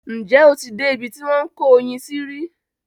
Ǹjẹ́ o ti dé ibi tí wọ́n ń kó oyin sí rí?